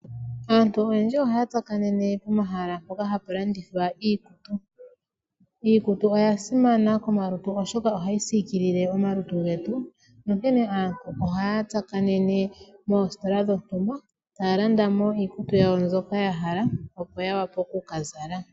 Aantu oyendji ohaya tsakanene pomahala mpoka apu landithwa iikutu. Iikutu oya simana komalutu oshoka ohayi sikilile omalutu getu, onkene aantu oha ya tsakanene moositola taalandamo iikutu mbyoka yahala opo ya wape oku kazala.